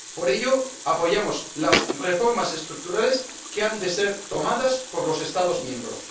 Por ello apoyamos las reformas estructurales que han de ser tomadas por los Estados miembros.